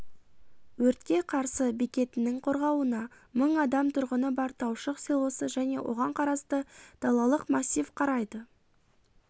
өртке қарсы бекетінің қорғауына мың адам тұрғыны бар таушық селосы және оған қарасты далалық массив қарайды